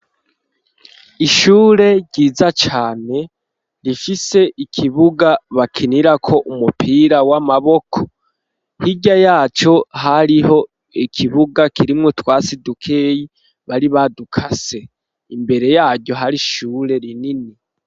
Ishure ryiza cane, rifise ikibuga bakinirako, umupira w'amaboko; hirya yaco, hariho ikibuga, kirimwo utwatsi dukeyi, bari badukase; imbere yaryo, hari ishure rinini.